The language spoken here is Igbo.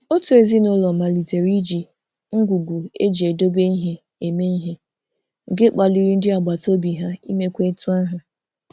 Otu ezinụụlọ malitere iji ngwugwu eji edobe ihe eme ihe, nke kpaliri ndị agbataobi ha imekwa etu ahụ.